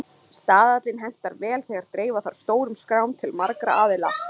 Staðallinn hentar vel þegar dreifa þarf stórum skrám til margra aðila.